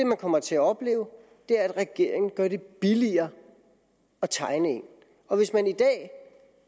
man kommer til at opleve at regeringen gør det billigere at tegne en og hvis man i dag